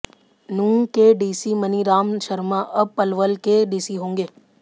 नूंह के डीसी मनीराम शर्मा अब पलवल के डीसी होंगे